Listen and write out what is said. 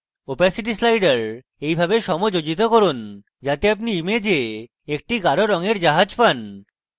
opacity slider এইভাবে সমযোজিত করুন যাতে আপনি image একটি গাঢ় রঙের জাহাজ পান